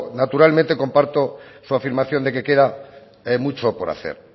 naturalmente comparto su afirmación de que queda mucho por hacer